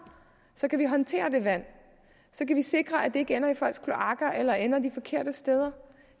så kan vi håndtere det vand så kan vi sikre at det ikke ender i folks kloakker eller ender de forkerte steder